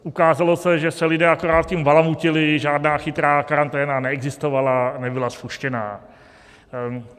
Ukázalo se, že se lidé akorát tím balamutili, žádná chytrá karanténa neexistovala, nebyla spuštěna.